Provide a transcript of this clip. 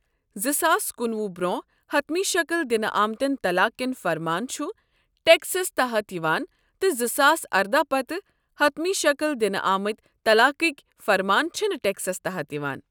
زٕساس کنُوہُ برٛۄنٛہہ حتمی شکل دنہٕ آمتیٚن طلاق کیٚن فرمان چِھ ٹكسس تحت یوان تہٕ زٕساس اردہَ پتہٕ حتمی شکل دنہٕ آمٕتۍ طلاقٕکۍ فرمان چھِنہٕ ٹیكسَس تحت یوان